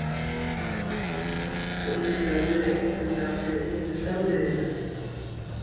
bendicela undincede undihlambele